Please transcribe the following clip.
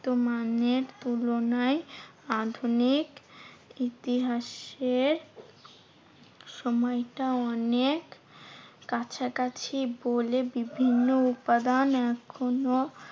বর্তমানের তুলনায় আধুনিক ইতিহাসের সময়টা অনেক কাছাকাছি বলে বিভিন্ন উপাদান এখনো